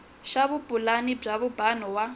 xa vupulani bya vumbano wa